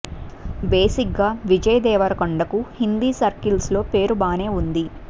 బేసిగ్గా విజయ్ దేవరకొండకు హిందీ సర్కిల్స్ లో పేరు బానే ఉంది